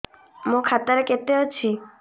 ମୋ ଖାତା ରେ କେତେ ଅଛି